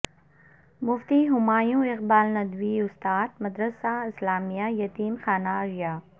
مفتی ہمایوں اقبال ندوی استاد مدرسہ اسلامیہ یتیم خانہ ارریہ